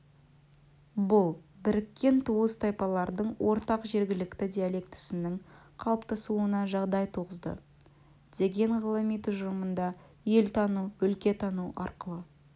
бұл біріккен туыс тайпалардың ортақ жергілікті диалектісінің қалыптасуына жағдай туғызды деген ғылыми тұжырымында елтану өлкетану арқылы